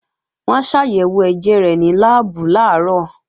Wọ́n ṣàyẹ̀wò ẹ̀jẹ̀ rẹ̀ ní láàbù làárọ̀